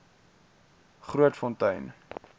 grootfontein